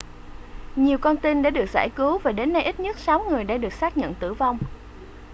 nhiều con tin đã được giải cứu và đến nay ít nhất sáu người đã được xác nhận tử vong